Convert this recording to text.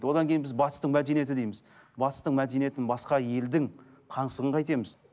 одан кейін біз батыстың мәдениеті дейміз батыстың мәдениетін басқа елдің пансығын қайтеміз